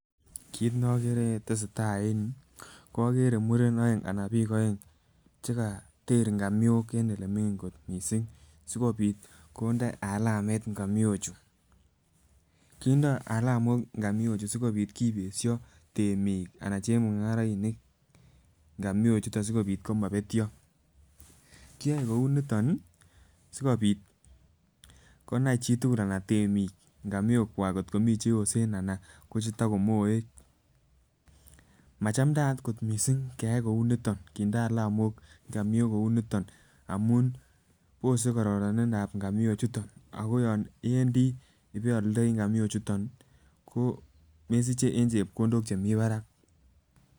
Kit ne okere netesetai en yuu ko okere murenik oeng anan bik oeng chekoter ingamiok en olemingin missing sikopit konde alamet ngamiochu. Kindo alamok ngamiochuu sikopit kipesho temik anan chemungarainik ngamiochuton sikopit komopetyo, kiyoe kouniton sikopit konai chitukul anan temiik ngamiok kwak kotko mii cheyosen anan ko chetokomoek. Machamdayat ko missing keyai kouniton kinde alamok ngamiok kou niton amun Bose kororonindsp ngamiok chuton ako yon iwendii ibeoldoi ngamiok chuton ko mesiche en chepkondok chemii barak.